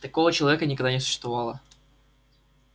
такого человека никогда не существовало